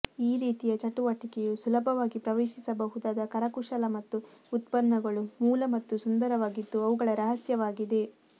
ಈ ರೀತಿಯ ಚಟುವಟಿಕೆಯು ಸುಲಭವಾಗಿ ಪ್ರವೇಶಿಸಬಹುದಾದ ಕರಕುಶಲ ಮತ್ತು ಉತ್ಪನ್ನಗಳು ಮೂಲ ಮತ್ತು ಸುಂದರವಾಗಿದ್ದು ಅವುಗಳ ರಹಸ್ಯವಾಗಿದೆ